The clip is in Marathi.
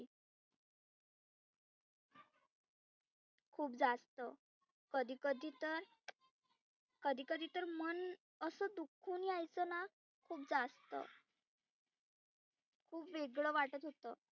खुप जास्त कधी कधी तर कधी कधी तर मन असं दुखुन यायचंना खुप जास्त खुप वेगळ वाटत होतं.